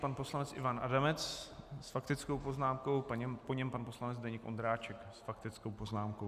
Pan poslanec Ivan Adamec s faktickou poznámkou, po něm pan poslanec Zdeněk Ondráček s faktickou poznámkou.